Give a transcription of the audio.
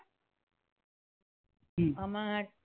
আমার